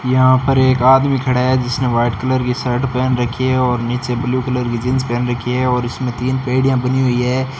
यहां पर एक आदमी खड़ा है जिसने व्हाइट कलर की शर्ट पहन रखी है और नीचे ब्ल्यू कलर की जींस पहन रखी है और इसमें तीन पेडिया बनी हुई है।